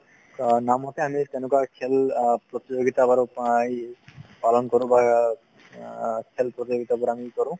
অ নামতে আমি তেনেকুৱা খেল অ প্ৰতিযোগিতা পালন কৰো বা অ খেল প্ৰতিযোগিতা বোৰ আমি কৰো